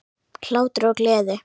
Hlátur og gleði.